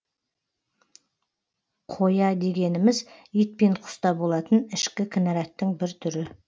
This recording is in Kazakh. қоя дегеніміз ит пен құста болатын ішкі кінараттың бір түрі